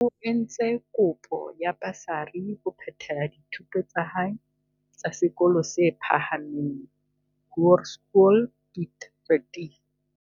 O entse kopo ya basari ho phethela dithuto tsa hae tsa sekolong se phahameng, Hoërskool Piet Retief.